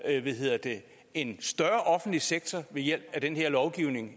en større offentlig sektor ved hjælp af den her lovgivning